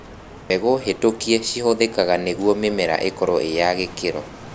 Mbegũ hĩtũkie cihũthikaga nĩgwo mĩmera ĩkorwo ĩyagĩkĩro.